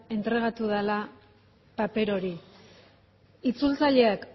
entregatu dela paper hori itzultzaileak